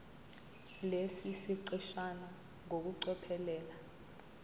lesi siqeshana ngokucophelela